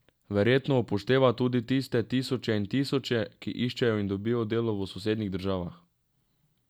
Verjetno upošteva tudi tiste tisoče in tisoče, ki iščejo in dobijo delo v sosednjih državah...